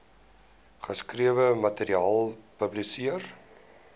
geskrewe materiaal publiseer